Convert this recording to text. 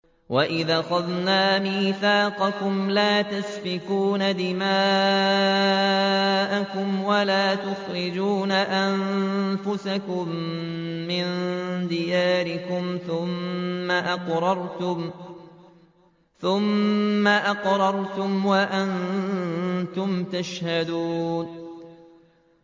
وَإِذْ أَخَذْنَا مِيثَاقَكُمْ لَا تَسْفِكُونَ دِمَاءَكُمْ وَلَا تُخْرِجُونَ أَنفُسَكُم مِّن دِيَارِكُمْ ثُمَّ أَقْرَرْتُمْ وَأَنتُمْ تَشْهَدُونَ